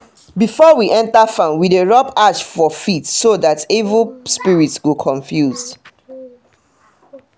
before we enter farm we dey rub ash four feet so that evil spirit go confuse.